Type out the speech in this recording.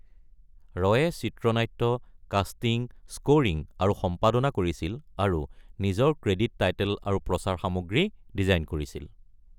ৰয়ে চিত্ৰনাট্য, casting, scoring, আৰু সম্পাদনা কৰিছিল আৰু নিজৰ ক্ৰেডিট টাইটেল আৰু প্ৰচাৰ সামগ্ৰী ডিজাইন কৰিছিল।